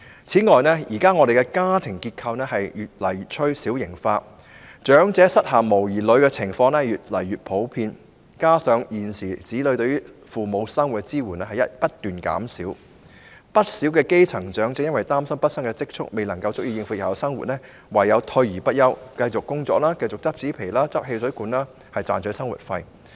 此外，現時的家庭結構越趨小型化，長者膝下無兒女的情況越來越普遍，再加上現時子女對父母生活的支援不斷減少，不少基層長者由於擔心畢生積蓄不足以應付日後生活，唯有退而不休，繼續工作，靠執拾紙皮和汽水罐賺取生活費。